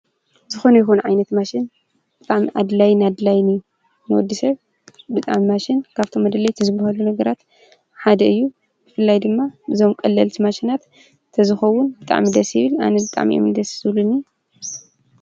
ዝኾነ ይሆን ዓይነት ማሽን ብም ኣድላይ ን ኣድላይኒ ነወዲሰር ብጣም ማሽን ካብቶም መደለይት ዝበሃሉ ነገራት ሓደ እዩ እፍላይ ድማ ብዞም ቀለልቲ ማሽናት ተዝኸውን ብጣም ደሲብል ኣነ ብጣም የምልደ ስብሉኒ።